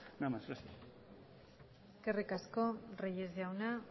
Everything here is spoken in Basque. nada más gracias eskerrik asko reyes jauna